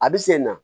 A bɛ sen na